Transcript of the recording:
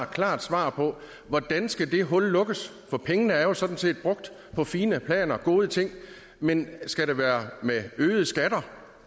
klart svar på hvordan skal det hul lukkes for pengene er jo sådan set brugt på fine planer gode ting men skal det være med øgede skatter